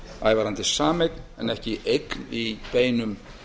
ævarandi sameign en ekki eign í beinum